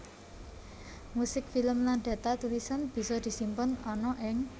Musik film lan data tulisan bisa disimpen ana ing